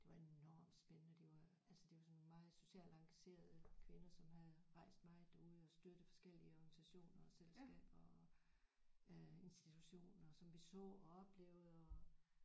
Det var enormt spændende det var altså det var sådan meget socialt engagerede kvinder som havde rejst meget derude og støttet forskellige organisationer og selskaber og øh institutioner som vi så og oplevede og